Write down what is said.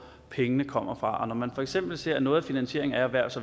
pengene kommer fra og når man for eksempel ser at noget af finansieringen af erhvervs